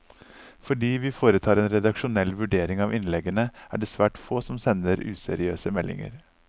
Fordi vi foretar en redaksjonell vurdering av innleggene, er det svært få som sender useriøse meldinger.